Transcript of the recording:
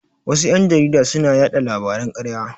Wasu ƴan jarida suna yaɗa labaran ƙarya.